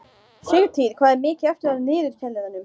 Sigtýr, hvað er mikið eftir af niðurteljaranum?